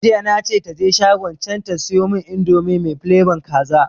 Jiya na ce taje shagon can ta siyomun indomi mai flabon kaza